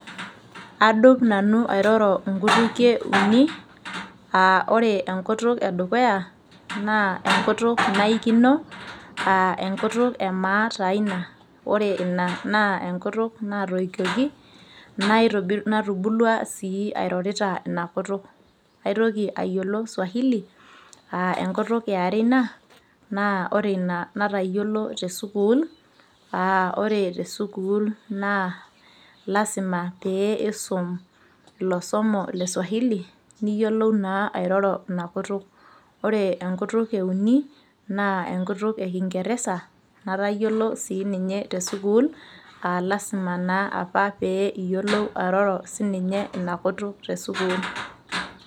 aadup nanu airoro inkutikie uni, ore enkutuk edukuya naa enkutuk naikino, aa aenkutuk emaa taa ina, ore inaa enkutuk naatoyunyieki. natubulua sii airorita ina kutuk. naitoki ayiolo swahili aa enkutuk yiare ina natayiolo te sukuul, naa ore te sukuul naa lasima pee isum ilosomo le swahili niyiolou naa airoro ina kutuk. ore enkutuk euni naa enkutuk ekingeresa natayiolo sii ninye te sukuul, lasima naa apa pee iyiolou airoro ina kutuk te sukuul.